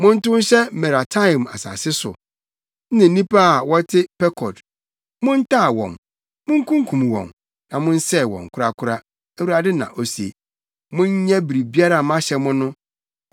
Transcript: “Montow nhyɛ Merataim asase so ne nnipa a wɔte Pekod. Montaa wɔn, munkunkum wɔn na monsɛe wɔn korakora,” Awurade na ose. “Monyɛ biribiara a mahyɛ mo no.